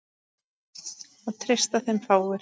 Það treysta þeim fáir.